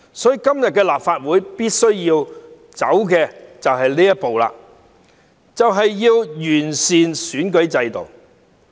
所以，立法會今天必須走的一步，就是完善選舉制度。